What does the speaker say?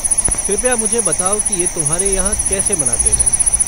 कृपया मुझे बताओ कि ये तुम्हारे यहाँ कैसे मनाते हैं।